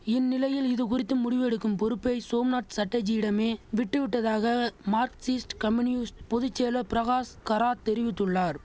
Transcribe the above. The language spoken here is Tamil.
இந்நிலையில் இதுகுறித்து முடிவு எடுக்கும் பொறுப்பை சோம்நாத் சட்டர்ஜியிடமே விட்டுவிட்டதாக மார்க்சிஸ்ட் கம்யூனிஸ்ட் பொது செயலர் பிரகாஷ் கராத் தெரிவித்துள்ளார்